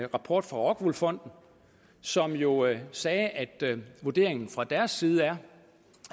rapport fra rockwool fonden som jo sagde at vurderingen fra deres side er